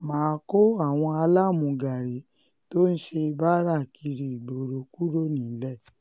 um má a kó àwọn alámúgárí tó um ń ṣe báárà kiri ìgboro kúrò nílẹ̀